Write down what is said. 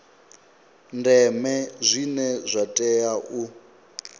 ndeme zwine zwa tea u